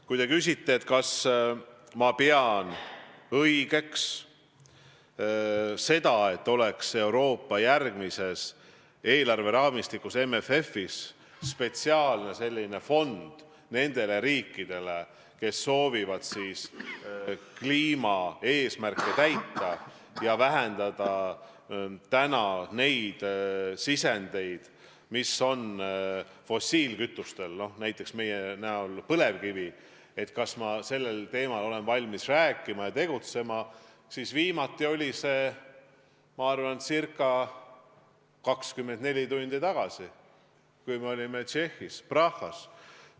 Kui te küsite, kas ma pean õigeks, et Euroopa järgmises eelarveraamistikus ehk MFF-is on spetsiaalne fond nendele riikidele, kes soovivad kliimapoliitika eesmärke täita ja vähendada selliseid fossiilkütustest sisendeid, nagu on näiteks meie põlevkivi, kui te küsite, kas ma sellel teemal olen valmis rääkima ja tegutsema, siis vastan, et viimati tegin ma seda ca 24 tundi tagasi, kui me olime Tšehhis Prahas.